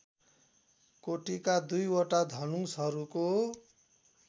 कोटिका दुईवटा धनुषहरूको